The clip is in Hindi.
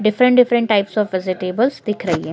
Different different types of vegetables दिख रही हैं।